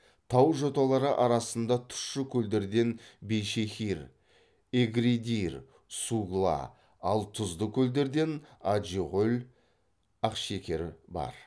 тау жоталары арасында тұщы көлдерден бейшехир эгридир сугла ал тұзды көлдерден аджиғөл ақшекер бар